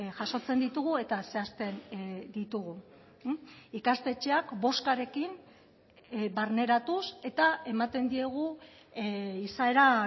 jasotzen ditugu eta zehazten ditugu ikastetxeak bozkarekin barneratuz eta ematen diegu izaera